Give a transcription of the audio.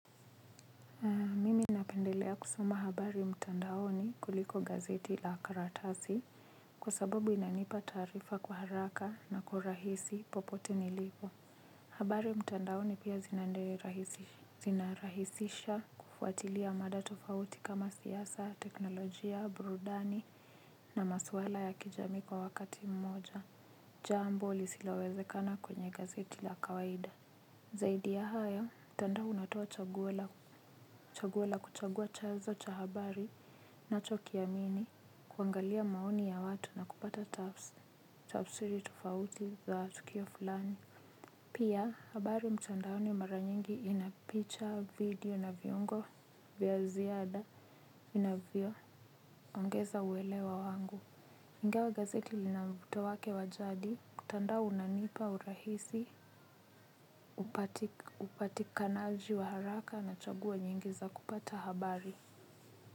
Napendelea kusoma habari mtandaoni kuliko gazeti la karatasi kwa sababu inanipa taarifa kwa haraka na kwa rahisi popote nilipo. Habari mtandaoni pia zina bei zinarahisisha kufuatilia mada tofauti kama siasa, teknolojia, burudani na maswala ya kijamii kwa wakati mmoja. Jambo lisilowezekana kwenye gazeti la kawaida. Zaidi ya haya, mtandao unatoa chaguo la kuchagua chanzo cha habari nachokiamini kuangalia maoni ya watu na kupata tafs, tafsiri tofauti za tukio fulani. Pia, habari mtandaoni mara nyingi ina picha video na viungo vya ziada inavyo ongeza uelewa wangu. Ingawa gazeti lina mvuto wake wa jadi, mtandao unanipa urahisi, upatikanaji wa haraka na chaguo nyingi za kupata habari.